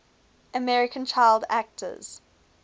american child actors